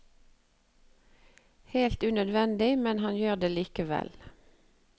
Helt unødvendig, men han gjør det likevel.